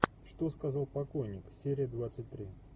что сказал покойник серия двадцать три